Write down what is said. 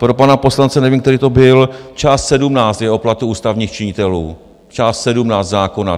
Pro pana poslance, nevím, který to byl, část 17 je o platu ústavních činitelů, část 17 zákona.